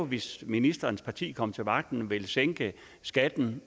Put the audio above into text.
hvis ministerens parti kom til magten og ville sænke skatten